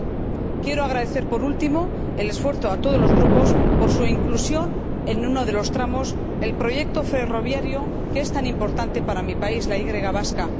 15. Quiero agradecer, por último, el esfuerzo a todos los Grupos por su inclusión en uno de los tramos del proyecto ferroviario que es tan importante para mi país, la Y vasca.